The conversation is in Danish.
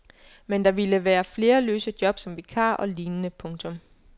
Men der ville være flere løse job som vikarer og lignende. punktum